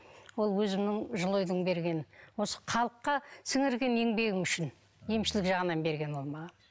ол өзімнің жылыойдың бергені осы халыққа сіңірген еңбегім үшін емшілік жағынан берген оны маған